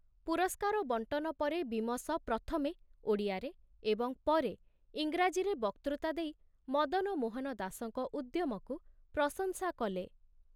ପୁରସ୍କାର ବଣ୍ଟନ ପରେ ବୀମସ ପ୍ରଥମେ ଓଡ଼ିଆରେ ଏବଂ ପରେ ଇଂରାଜୀରେ ବକ୍ତୃତା ଦେଇ ମଦନ ମୋହନ ଦାସଙ୍କ ଉଦ୍ୟମକୁ ପ୍ରଶଂସା କଲେ।